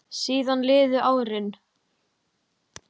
Síðan liðu árin.